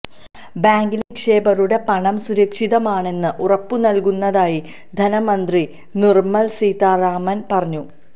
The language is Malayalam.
ബാങ്കിലെ നിക്ഷേപകരുടെ പണം സുരക്ഷിതമാണെന്ന് ഉറപ്പുനൽകുന്നതായി ധനമന്ത്രി നിര്മല സീതാരാമന് പറഞ്ഞു